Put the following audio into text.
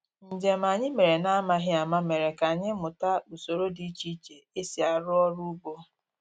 Njem anyị mere na-amaghị ama mere ka anyị mụta usoro dị iche iche e si arụ ọrụ ugbo